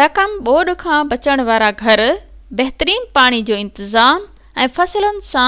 رقم ٻوڏ کان بچڻ وارا گهر بهترين پاڻي جو انتظام ۽ فصلن جا